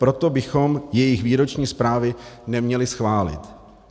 Proto bychom jejich výroční zprávy neměli schválit.